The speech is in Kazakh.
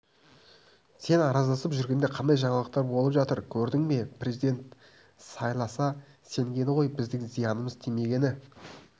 сен араздасып жүргенде қандай жаңалықтар болып жатыр көрдің бе президент сайласа сенгені ғой біздің зиянымыз тимегені